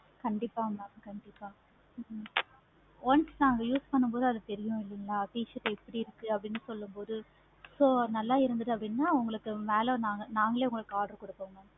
கண்டிப்பா mam கண்டிப்பா once நாங்க use பானு போது அது தெரியு இல்லையா t-shirt எப்படி இருக்கு சொல்லும் போது உ so நல்ல இருந்தது அப்படினா உங்களுக்கு மேல நாங்களே உங்களுக்கு order கொடுப்போம்.